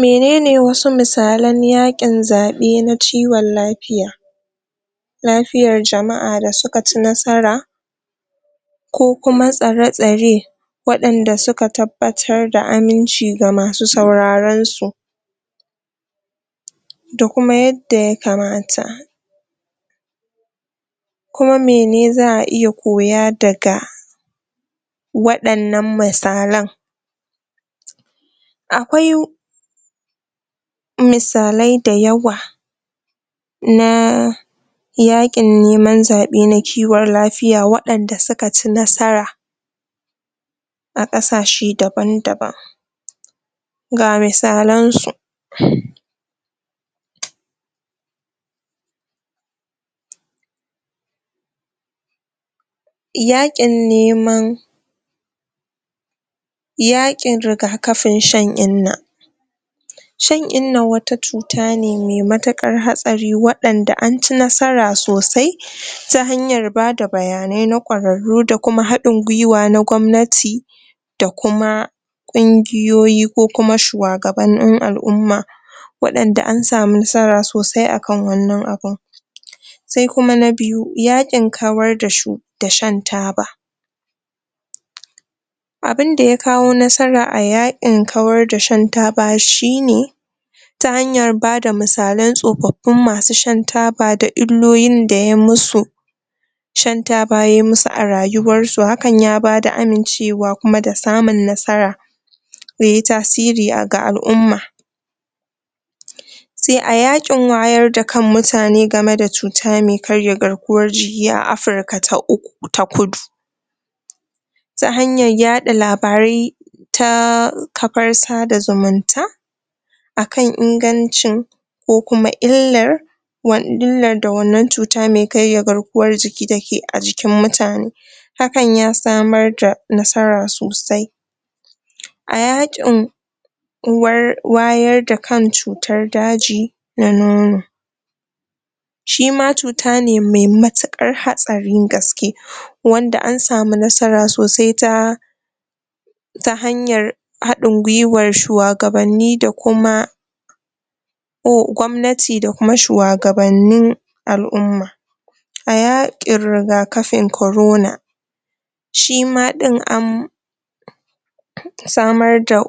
Menene wasu misalan yaƙin zaɓe na ciwon lafiya lafiyar jama'a da suka ci nasara ko kuma tsare-tsare waɗanda suka tabbatar da aminci ga masu sauraron su da kuma yadda ya kamata ko mene za'a iya koya daga waɗannan misalan akwai misalai da yawa na yaƙin neman zaɓe na kiwon lafiya waɗanda suka ci nasara a ƙasashe daban-daban ga misalan su yaƙin neman yaƙin rigakafin shan inna shan innan wata cuta ne mai matuƙar hatsari waɗanda an ci nasara sosai ta hanyar bada bayanai na ƙwararru da kuma haɗin gwuiwa na gwamnati da kuma ƙungiyoyi ko kuma shuwagabannin al'umma waɗanda an samu nasara sosai akan wannan abun sai kuma na biyu, yaƙin kawar da shu da shan taba abinda ya kawo nasara a yaƙin kawar da shan taba shi ne ta hanyar bada misalan tsofaffin masu shan taba da illolin da yayi musu shan taba yai musu a rayuwar su, hakan ya bada amincewa kuma da samun nasara me tasiri ga al'umma sai a yaƙin wayar da kan mutane game da cuta me karya garkuwan jiki a Afirka ta Kudu ta hanyar yaɗa labarai ta kafar sada zumunta akan ingancin ko kuma illar illar da wannan cuta me karya garkuwan jiki take a jikin mutane hakan ya samar da nasara sosai a yaƙin wayar da kan cutar daji na nono shi ma cuta ne me matuƙar hatsarin gaske wanda an samu nasara sosai ta hanyar haɗin gwuiwar shuwagabanni da kuma gwamnati da kuma shuwagabannin al'umma a yaƙin rigakafin corona shi ma ɗin an samar da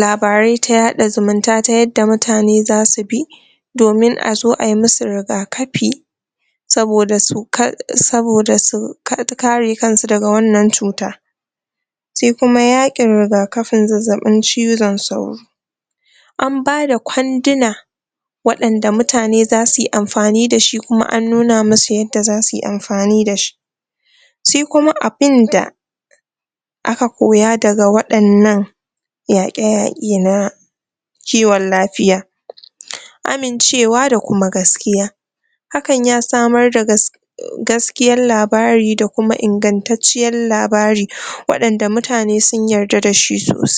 labarai ta yaɗa zumunta ta yadda mutane zasu bi domin a zo ai musu rigakafi saboda su kare kan su daga wannan cuta shi kuma yaƙin rigakafin zazzaɓin cizon sauro an bada kwaduna waɗanda mutane zasu yi amfani da shi, kuma an nuna musu yadda zasu yi amfani da shi sai kuma abin da aka koya daga waɗannan yaƙe-yaƙe na kiwon lafiya amincewa da kuma gaskiya hakan ya samar da gas gaskiyan labari da kuma ingantacciyar labari waɗanda mutane sun yarda da shi sosai.